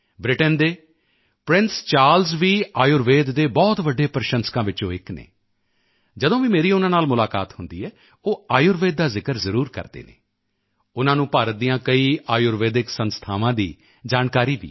Britain ਦੇ prince Charles ਵੀ ਆਯੁਰਵੇਦ ਦੇ ਬਹੁਤ ਵੱਡੇ ਪ੍ਰਸ਼ੰਸਕਾਂ ਵਿੱਚੋਂ ਇੱਕ ਹਨ ਜਦੋਂ ਵੀ ਮੇਰੀ ਉਨ੍ਹਾਂ ਨਾਲ ਮੁਲਾਕਾਤ ਹੁੰਦੀ ਹੈ ਉਹ ਆਯੁਰਵੇਦ ਦਾ ਜ਼ਿਕਰ ਜ਼ਰੂਰ ਕਰਦੇ ਹਨ ਉਨ੍ਹਾਂ ਨੂੰ ਭਾਰਤ ਦੀਆਂ ਕਈ ਆਯੁਰਵੇਦਿਕ ਸੰਸਥਾਵਾਂ ਦੀ ਜਾਣਕਾਰੀ ਵੀ ਹੈ